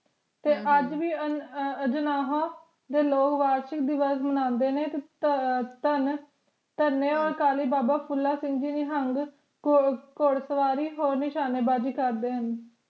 ਤੇ ਅੱਜ ਵੀ ਅਜਨਾਹਾ ਦੇ ਲੋਗ ਵਾਰਸ਼ਿਕ ਦਿਵਸ ਮਨਾਂਦੇ ਨੇ ਤੇ ਧਨ ਧਨੇ ਓਰ ਅਕਾਲੀ ਬਾਬਾ ਫੂਲਾ ਸਿੰਘ ਜੀ ਨਿਹੰਗ ਘੁੜ ਸਵਾਰੀ ਹੋਰ ਨਿਸ਼ਾਨਿਬਾਜੀ ਕਰਦੇ ਹਨ